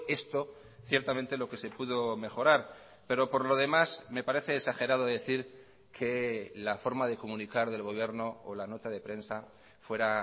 esto ciertamente lo que se pudo mejorar pero por lo demás me parece exagerado decir que la forma de comunicar del gobierno o la nota de prensa fuera